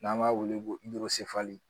N'an b'a wele ko